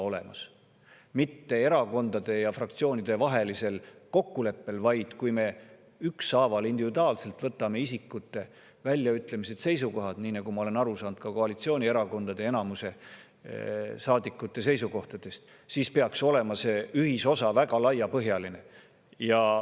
mitte erakondade ja fraktsioonide vahelisel kokkuleppel, vaid siis, kui me ükshaaval, individuaalselt võtame ette isikute väljaütlemised ja seisukohad – nii ma olen aru saanud ka koalitsioonierakondade enamuse saadikute seisukohtadest –, peaks see ühisosa olema väga laiapõhjaline.